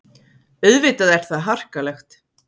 Auðvitað er það harkalegt.